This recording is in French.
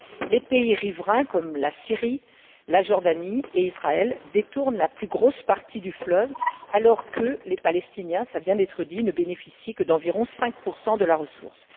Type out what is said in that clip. Les pays riverains, comme la Syrie, la Jordanie et Israël, détournent la plus grosse partie du fleuve alors que les Palestiniens cela vient d'être dit ne bénéficient que d'environ 5 de la ressource.